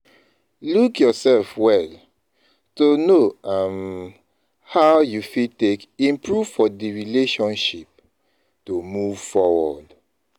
Look yourself well to know um how you fit take improve for di relationship to move forward